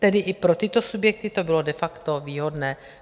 Tedy i pro tyto subjekty to bylo de facto výhodné.